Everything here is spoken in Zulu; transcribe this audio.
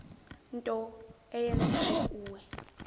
nto eyenzeke kuwe